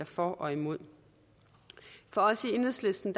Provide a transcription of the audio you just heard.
for og imod for os i enhedslisten